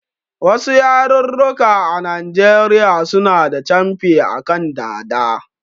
Wasu yarurruka a Najeriya suna da camfi a kan dada